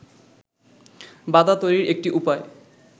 বাধা তৈরির একটি উপায়